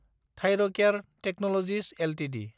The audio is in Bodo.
Thyrocare technologies Ltd